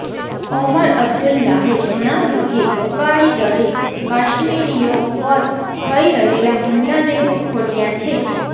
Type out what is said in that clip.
ઓમર અબ્દુલ્લાહે જણાવ્યું કે અકાલીદળે કાશ્મીરીઓ પર થઇ રહેલા હુમલાને વખોડ્યા છે